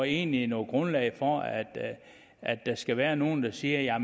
egentlig noget grundlag for at at der skal være nogen der siger